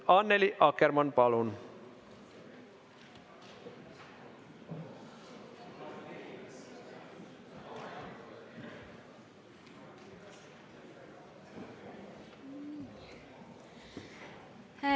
Annely Akkermann, palun!